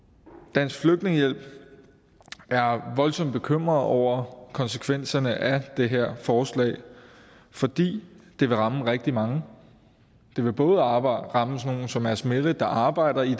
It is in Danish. dansk flygtningehjælp er voldsomt bekymret over konsekvenserne af det her forslag fordi det vil ramme rigtig mange det vil både ramme ramme sådan nogle som asmeret der arbejder i